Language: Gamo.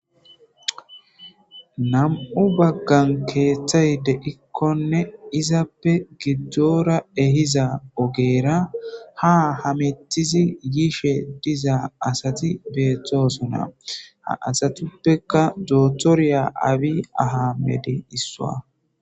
Nam7u baggan keeththay deikkonne izappe giddora ehiza ogeera ha hametizi yiishe diza asati beeththoosona ha asatuppeka doothorya abi aha medi issua.